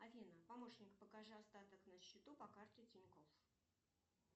афина помощник покажи остаток на счету по карте тинькофф